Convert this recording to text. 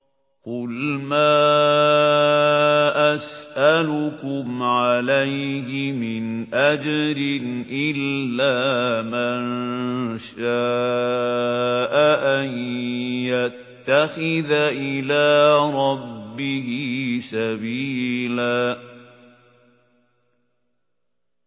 قُلْ مَا أَسْأَلُكُمْ عَلَيْهِ مِنْ أَجْرٍ إِلَّا مَن شَاءَ أَن يَتَّخِذَ إِلَىٰ رَبِّهِ سَبِيلًا